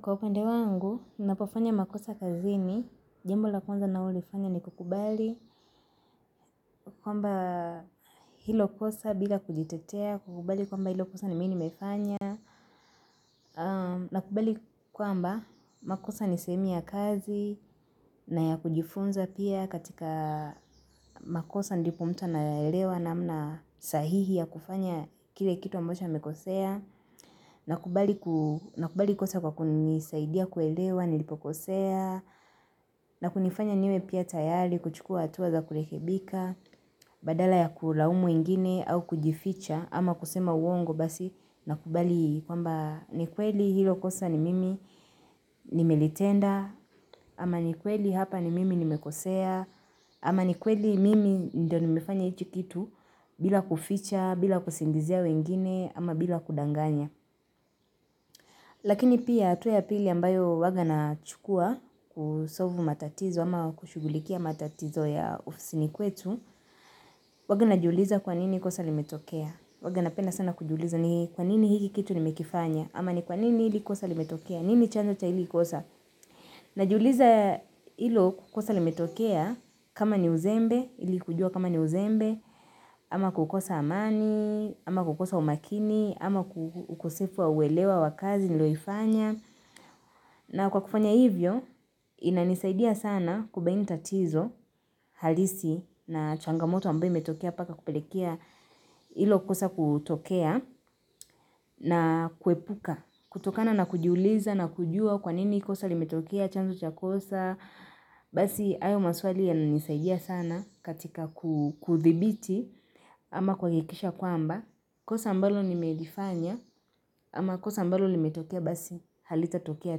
Kwa upande wangu, ninapofanya makosa kazini, jambo la kwanza nalolifanya ni kukubali kwamba hilo kosa bila kujitetea, kukubali kwamba hilo kosa ni mi nimefanya na kubali kwamba makosa ni sehemu ya kazi na ya kujifunza pia katika makosa ndipo mtu anaelewa namna sahihi ya kufanya kile kitu ambacho amekosea na kukubali kosa kwa kunisaidia kuelewa, nilipokosea na kunifanya niwe pia tayari, kuchukua hatua za kurekebika, Badala ya kulaumu wengine au kujificha ama kusema uongo basi nakubali kwamba ni kweli hilo kosa ni mimi nimelitenda, ama ni kweli hapa ni mimi nimekosea ama ni kweli mimi ndio nimefanya hicho kitu bila kuficha, bila kusingizia wengine, ama bila kudanganya Lakini pia hatua ya pili ambayo huwanga nachukua, kusolve matatizo ama kushughulikia matatizo ya ofisini kwetu, huwanga najiuliza kwa nini kosa limetokea. Huwanga napenda sana kujiuliza ni kwa nini hiki kitu nimekifanya, ama ni kwa nini hili kosa limetokea, nini chanzo cha hili kosa. Najiuliza hilo kosa limetokea kama ni uzembe, ili kujua kama ni uzembe, ama kukosa amani, ama kukosa umakini, ama ukosefu wa uelewa wakazi niliyoifanya. Na kwa kufanya hivyo, inanisaidia sana kubaini tatizo halisi na changamoto ambayo imetokea mpaka kupelekea hilo kosa kutokea na kuepuka. Kutokana na kujuliza na kujua kwa nini kosa limetokea, chanzo cha kosa, basi hayo maswali yananisaidia sana katika kuthibiti ama kuhakikisha kwamba. Kosa ambalo nimelifanya ama kosa ambalo limetokea basi halitatokea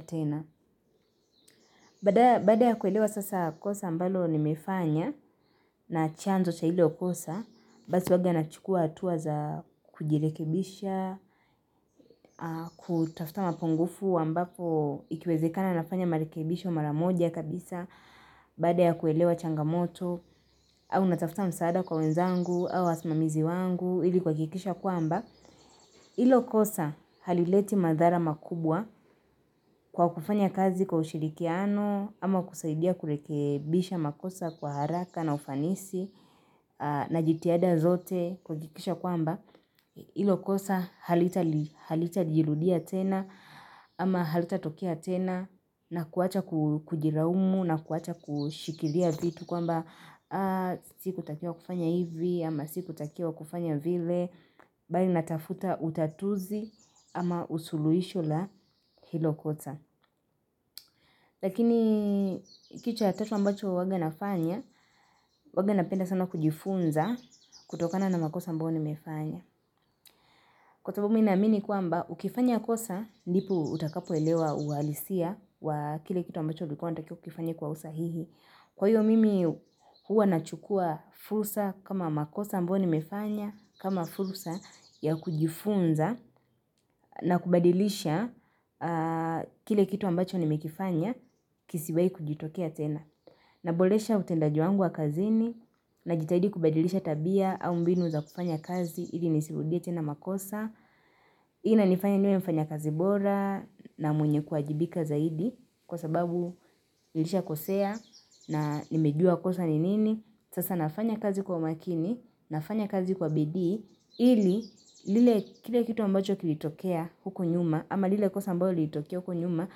tena. Baada ya kuelewa sasa kosa ambalo nimefanya na chanzo cha hilo kosa, basi huwanga nachukua hatua za kujirekebisha, kutafuta mapungufu ambapo ikiwezekana nafanya marekebisho mara moja kabisa, baada ya kuelewa changamoto, au natafuta msaada kwa wenzangu, au wasimamizi wangu, ili kuhakikisha kwamba. Hilo kosa halileti madhara makubwa kwa kufanya kazi kwa ushirikiano ama kusaidia kurekebisha makosa kwa haraka na ufanisi na jitihada zote, kuhakikisha kwamba hilo kosa halitajirudia tena ama halitatokea tena na kuwacha kujilaumu na kuwacha kushikilia vitu kwamba sikutakiwa kufanya hivi ama sikutakiwa kufanya vile, bali natafuta utatuzi ama usuluhisho la hilo kosa. Lakini kitu ya tatu ambacho huwanga nafanya, huwanga napenda sana kujifunza kutokana na makosa ambayo nimefanya. Kwa sababu mi naamini kwamba, ukifanya kosa ndipo utakapoelewa uhalisia wa kile kitu ambacho ulikuwa unatakiwa ukifanye kwa usahihi. Kwa hiyo mimi huwa nachukua fursa kama makosa ambayo nimefanya kama fursa ya kujifunza na kubadilisha kile kitu ambacho nimekifanya kisiwahi kujitokea tena. Naboresha utendaji wangu wa kazini, najitahidi kubadilisha tabia au mbinu za kufanya kazi ili nisirudie tena makosa. Hii inanifanya niwe mfanyakazi bora na mwenye kuwajibika zaidi kwa sababu nilishakosea na nimejua kosa ni nini. Sasa nafanya kazi kwa umakini, nafanya kazi kwa bidii, ili kile kitu ambacho kilitokea huko nyuma ama lile kosa ambalo lilitokea huko nyuma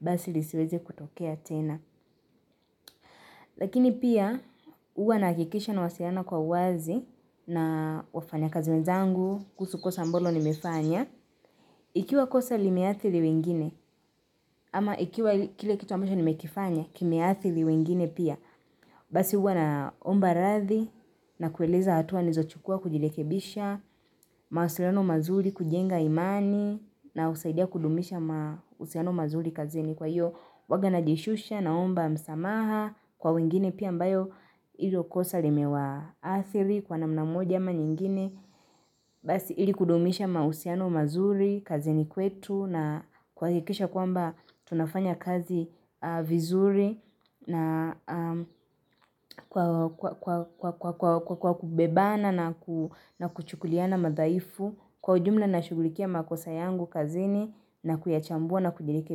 basi lisiweze kutokea tena. Lakini pia huwa nahakikisha nawasiliana kwa uwazi na wafanyakazi wenzangu kuhusu kosa ambalo nimefanya ikiwa kosa limeathiri wengine ama ikiwa kile kitu ambacho nimekifanya kimeathiri wengine pia, basi huwa naomba radhi, na kueleza hatua nilizochukua kujirekebisha, mawasiliano mazuri kujenga imani, na husaidia kudumisha mahusiano mazuri kazini. Kwa hiyo huwanga najishusha, naomba msamaha kwa wengine pia ambayo hilo kosa limewaathiri kwa namna moja ama nyingine basi ili kudumisha mahusiano mazuri kazini kwetu, na kuhakikisha kwamba tunafanya kazi vizuri na kwa kubebana na kuchukuliana madhaifu. Kwa ujumla nashughulikia makosa yangu kazini na kuyachambua na kujirekebisha.